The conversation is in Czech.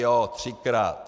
Jo, třikrát.